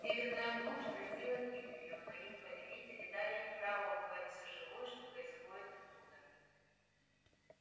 северная глушь грозила гибелью но их повелители дали им право убивать всё живое что происходит оттуда